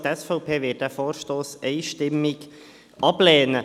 Auch die SVP wird diesen Vorstoss einstimmig ablehnen.